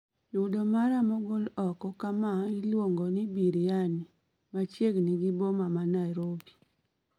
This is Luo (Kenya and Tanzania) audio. Yudo mara mogol oko kama iluongoni biriani machiegni gi boma ma narobi